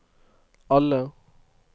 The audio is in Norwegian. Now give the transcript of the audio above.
alle